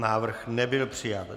Návrh nebyl přijat.